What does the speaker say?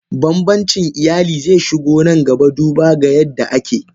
Banbancin iyali zeshigo nan gaba duba ga yadda ake.